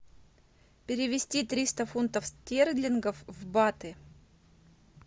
перевести триста фунтов стерлингов в баты